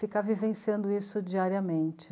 Ficar vivenciando isso diariamente.